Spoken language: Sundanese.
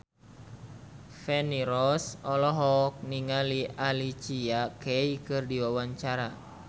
Feni Rose olohok ningali Alicia Keys keur diwawancara